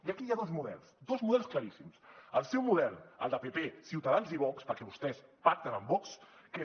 i aquí hi ha dos models dos models claríssims el seu model el de pp ciutadans i vox perquè vostès pacten amb vox que és